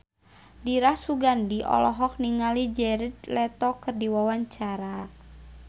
Dira Sugandi olohok ningali Jared Leto keur diwawancara